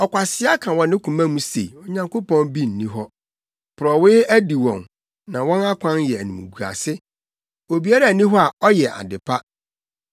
Ɔkwasea ka wɔ ne koma mu se, “Onyankopɔn bi nni hɔ.” Porɔwee adi wɔn, na wɔn akwan yɛ animguase. Obiara nni hɔ a ɔyɛ ade pa.